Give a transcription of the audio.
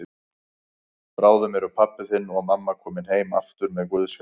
Bráðum eru pabbi þinn og mamma komin heim aftur með Guðs hjálp.